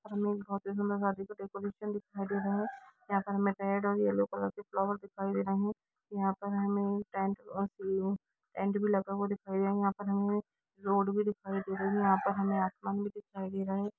शादी का डेकोरेशन दिखाई दे रहा है यहां पे हमे रेड और येलो कलर के फ्लावर दिखाई दे रहे है यहां पर हमे टेंट और टेंट भी लगा हुआ दिखाई रहा है यहां पे हमे रोड भी दिखाई दे रहा है यहां पर हमे आसमान भी दिखाई दे रहा है।